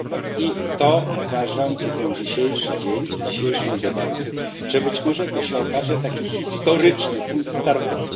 I to uważam i ten dzisiejszy dzień, i dzisiejsza debata, że być może to się okaże taki historyczny punkt startowy.